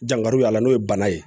Jankari y'a la n'o ye bana ye